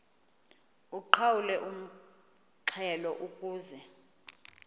uqhawulwe umxhelo ukuze